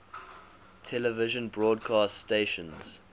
television broadcast stations